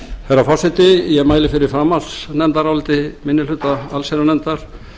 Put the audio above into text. frú forseti ég mæli fyrir framhaldsnefndaráliti minni hluta allsherjarnefndar